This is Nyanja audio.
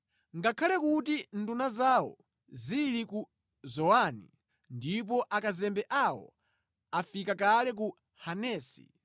Ngakhale kuti nduna zawo zili ku Zowani, ndipo akazembe awo afika kale ku Hanesi,